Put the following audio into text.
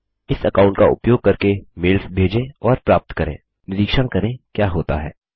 यह अकाऊंट का उपयोग करके मेल्स भेजें और प्राप्त करें निरीक्षण करें क्या होता है